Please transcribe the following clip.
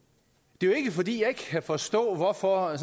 det er jo ikke fordi jeg ikke kan forstå hvorfor